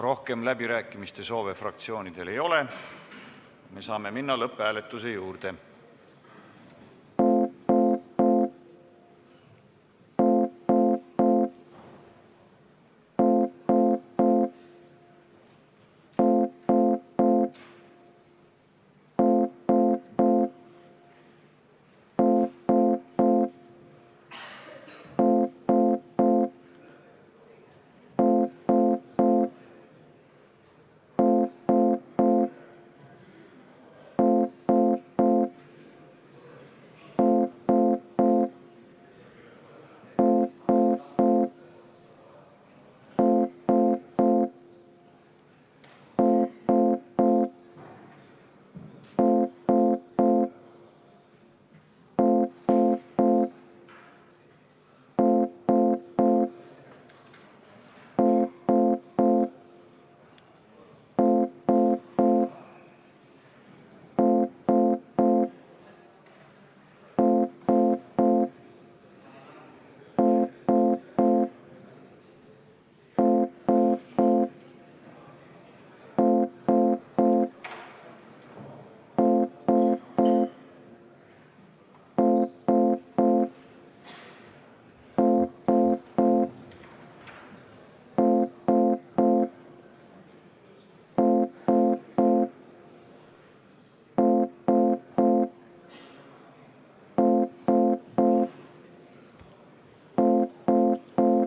Rohkem läbirääkimiste soove fraktsioonidel ei ole, me saame minna lõpphääletuse juurde.